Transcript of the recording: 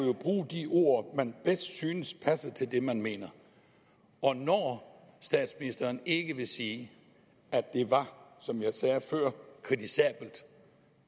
bruge de ord man bedst synes passer til det man mener og når statsministeren ikke vil sige at det var som jeg sagde før kritisabelt